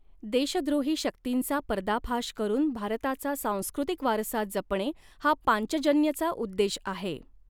देशद्रोही शक्तींचा पर्दाफाश करून भारताचा सांस्कृतिक वारसा जपणे हा पाञ्चजन्यचा उद्देश आहे.